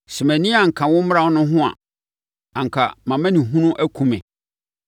Sɛ mʼani anka wo mmara no ho a, anka mʼamanehunu akum me.